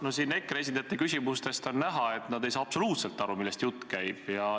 No siin EKRE esindajate küsimustest on näha, et nad ei saa absoluutselt aru, millest jutt käib.